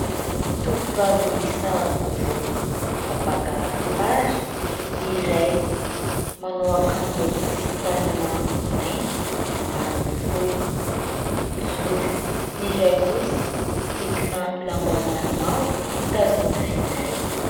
Tovovavy miisa roa mifampaka sary : ny iray manao akanjo tsy misy tanana, mainty ambanin'ny fohy, mijoro, ny iray kosa misikina lambahoany mavo, mitazona finday.